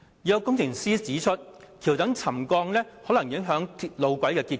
有工程師指出，橋躉沉降可能影響路軌的結構。